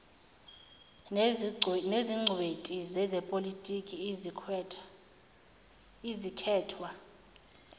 nezingcweti zezepolotiki ezikhethwa